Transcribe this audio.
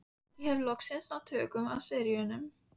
Ég hef loks náð tökum á séranum.